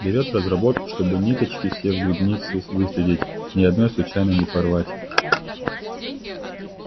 берет в разработку чтобы ниточки все в грибнице выследить ни одной случайно не порвать